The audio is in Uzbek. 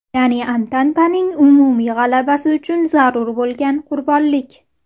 Ya’ni Antantaning umumiy g‘alabasi uchun zarur bo‘lgan qurbonlik.